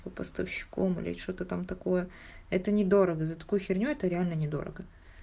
поставщиком или что-то там такое это недорого за такую херню это реально недорого